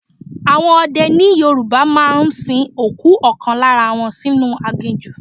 Àwọn ọdẹ ni Yorùbá máa ń sin òkú ọ̀kan lára wọn sínú aginjù.